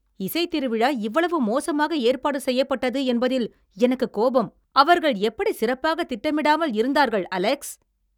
இசைத் திருவிழா இவ்வளவு மோசமாக ஏற்பாடு செய்யப்பட்டது என்பதில் எனக்குக் கோபம். அவர்கள் எப்படி சிறப்பாக திட்டமிடாமல் இருந்தார்கள், அலெக்ஸ்?